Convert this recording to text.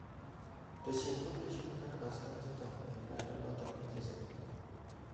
Teshin pepeishek ak asta chechang eng lainda noto negichesani